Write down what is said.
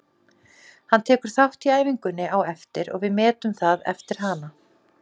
Hann tekur þátt í æfingunni á eftir og við metum það eftir hana.